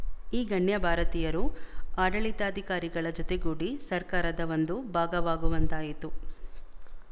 ಈ ಗಣ್ಯ ಭಾರತೀಯರು ಆಡಳಿತಾಧಿಕಾರಿಗಳ ಜೊತೆಗೂಡಿ ಸರ್ಕಾರದ ಒಂದು ಭಾಗವಾಗುವಂತಾಯಿತು